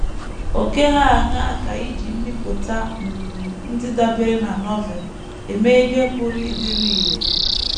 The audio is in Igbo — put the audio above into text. Ókè hà aṅaa ka iji mbipụta um ndị dabeere na Novel eme ihe pụrụ ịdịru irè?